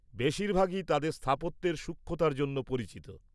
বেশিরভাগই তাদের স্থাপত্যের সূক্ষ্মতার জন্য পরিচিত।